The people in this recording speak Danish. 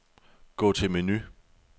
Gå til menu.